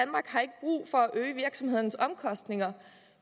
øge virksomhedernes omkostninger